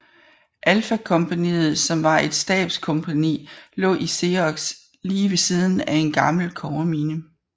Alfa kompagniet som var et Stabskompagni lå i Xeros lige ved siden af en gammel kobbermine